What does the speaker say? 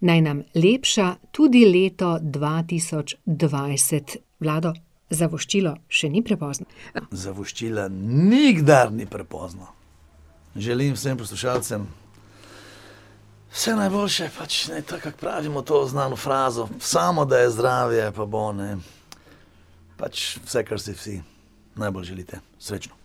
Naj nam lepša tudi leto dva tisoč dvajset. Vlado, za voščilo še ni prepozno. za voščila nikdar ni prepozno. Želim vsem poslušalcem vse najboljše, pač ne, tako ka pravimo to znano frazo: samo da je zdravje, pa bo, ne. Pač, vse kar si vsi najbolj želite. Srečno.